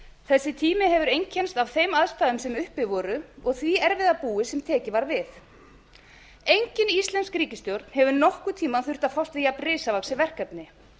þessi tími hefur einkennst af þeim aðstæðum sem uppi voru og því erfiða búi sem tekið var við engin íslensk ríkisstjórn hefur nokkurn tíma þurft að fást við jafnrisavaxið verkefni